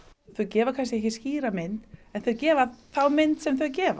þau gefa kannski ekki skýra mynd en þau gefa þá mynd sem þau gefa